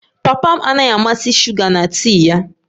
Papa m anaghị amasị shuga na tii ya